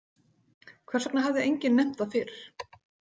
Hvers vegna hafði enginn nefnt það fyrr?